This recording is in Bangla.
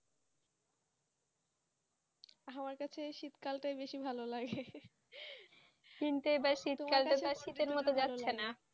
আমার কাছে শীত কালতাই বেশি ভালো লাগে কিন্তু শীত কালতো শীত মতো যাচ্ছে না